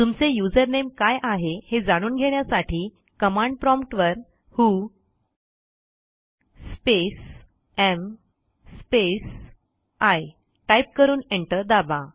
तुमचे युझरनेम काय आहे हे जाणून घेण्यासाठी कमांड प्रॉम्प्ट वर who space am space I type करून एंटर दाबा